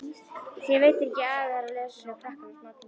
Þér veitir ekki af að vera laus við krakkana smátíma.